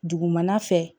Dugumana fɛ